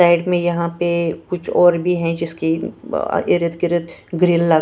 side में यहां पे कुछ और भी है जिसके अ इरदगिरद ग्रिल लगा --